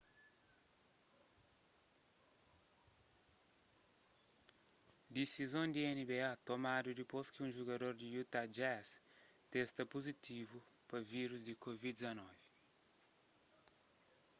disizon di nba tomadu dipôs ki un jugador di utah jazz testa puzitivu pa vírus di covid-19